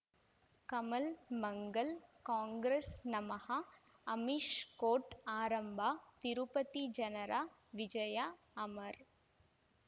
ಕಮಲ್ ಮಂಗಳ್ ಕಾಂಗ್ರೆಸ್ ನಮಃ ಅಮಿಷ್ ಕೋರ್ಟ್ ಆರಂಭ ತಿರುಪತಿ ಜನರ ವಿಜಯ ಅಮರ್